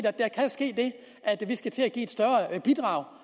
at der kan ske det at vi skal til at give et større bidrag